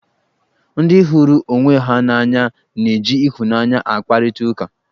Ndị hụrụ onwe ha n'anya na-eji ịhụnanya akparịta ụka.